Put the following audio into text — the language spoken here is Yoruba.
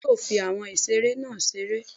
bẹẹni yóò fí awọn ìseré nah ṣeré